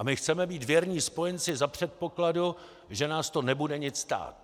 A my chceme být věrní spojenci za předpokladu, že nás to nebude nic stát.